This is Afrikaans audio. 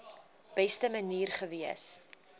beste manier gewees